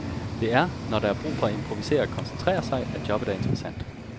Det er, når der er brug for at improvisere og koncentrere sig, at jobbet er interessant.